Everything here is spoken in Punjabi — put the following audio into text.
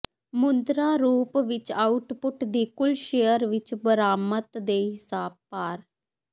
ਮੁਦਰਾ ਰੂਪ ਵਿੱਚ ਆਉਟਪੁੱਟ ਦੀ ਕੁੱਲ ਸ਼ੇਅਰ ਵਿਚ ਬਰਾਮਦ ਦੇ ਹਿਸਾਬ ਭਾਰ